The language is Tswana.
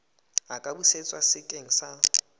a ka busetswa sekeng sa